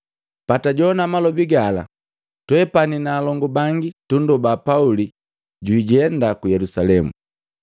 Patajowana malobi gala, twepani na alongu bangi tundoba Pauli jwijenda ku Yelusalemu.